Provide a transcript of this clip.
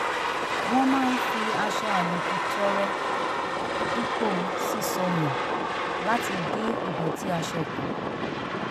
wọ́n máa ń fi aṣọ àlòkù tọrẹ dípò ṣíṣọ nù láti dín ìdọ̀tí aṣọ kù